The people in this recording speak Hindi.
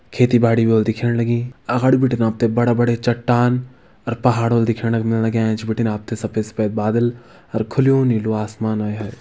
खेती बाड़ी भी होल दिखेण लगीं अगाड़ी बिटिन आप तें बड़ा बड़े चट्टान और पहाड़ भी होल दिखेण क मिल लग्यां एंच बिटिन आप तें सफेद सफेद बादल अर खुल्युं नीलु आसमान आए - हाय।